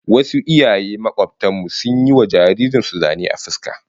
Wasu iyaye makobtan mu sun yi wa jaririn su zane a fuska